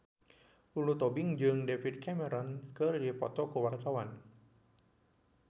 Lulu Tobing jeung David Cameron keur dipoto ku wartawan